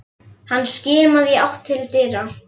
Hann skimaði í átt til dyra.